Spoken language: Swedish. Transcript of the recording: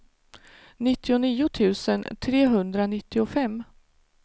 nittionio tusen trehundranittiofem